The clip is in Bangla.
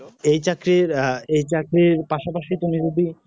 এই চাকরির হ্যাঁ এই চাকরির পাশাপাশি তুমি যদি